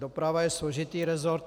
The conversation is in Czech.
Doprava je složitý rezort?